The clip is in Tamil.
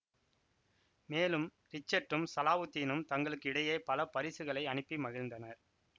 மேலும் ரிச்சர்ட்டும் சலாவுத்தீனும் தங்களுக்கு இடையே பல பரிசுகளை அனுப்பி மகிழ்ந்தனர்